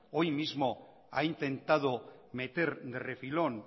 hoy mismo ha intentado meter de refilón